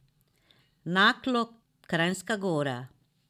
Naklo, Kranjska Gora.